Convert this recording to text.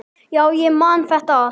Já, ég man þetta allt.